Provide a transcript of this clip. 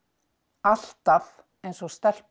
alltaf eins og